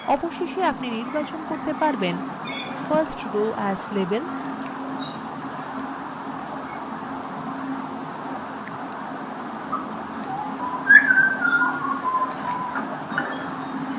অবশেষে আপনি নির্বাচন করতে পারবেন